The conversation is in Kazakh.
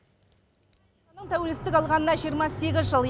тәуелсіздік алғанына жиырма сегіз жыл